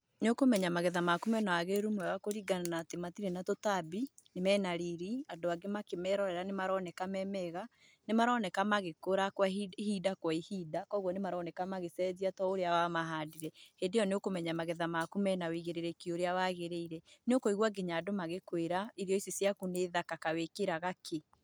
Nĩ ũkũmenya magetha maku mena wagĩrĩru mwega kũringa na atĩ matirĩ na tũtambi, mena riria andũ angĩ makĩmerorera nĩmaroneka me mega, nĩ maroneka magĩkũra ihinda kwa ihinda, kwogwo nĩ maroneka magĩcenjia to ũrĩa wa mahandire. Hĩndĩyo nĩ kũmenya magetha maku mena ũigĩrĩrĩki ũrĩa wagĩrĩire. Nĩ ũkũigua nginya andũ magĩkwĩra, 'irio ici ciaku nĩ thaka, kaĩ wĩkĩraga kĩ?'